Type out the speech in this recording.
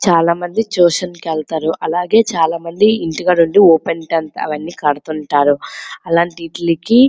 చాలా మంది ట్యూషన్ల కి వెళ్తారు. అలాగె చాలా మంది ఇంటి దగ్గర ఉండి చదువుకుంటారు ఓపెన్ టెన్త్ . అది కూడా అలవాటికి --